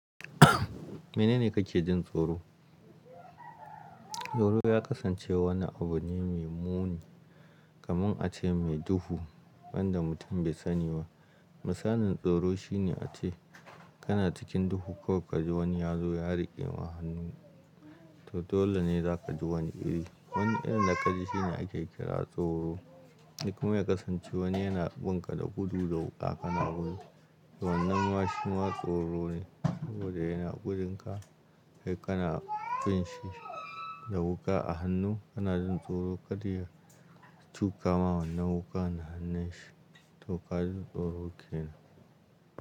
Mene ne kake jin tsoro? Tsoro ya kasance wani abu ne mai muni, kaman a ce mai duhu, wanda mutum bai sani ba. Misalin tsoro shine a ce kana cikin duhu kawai ka ji wani ya zo ya riƙema hannu, to dole ne za ka ji wani iri. Wani irin da ka ji shine ake kira tsoro. Likman ya kasance wani yana bin ka da gudu da wuƙa kana gudu. To wannan ma shi ma tsoro ne, saboda yana gudunka, sai kana bin shi da wuƙa a hannu. Kana jin tsoro ka ji ya ciwu kama wannan wuƙan a hannun shi, to ka ji tsoro kenan.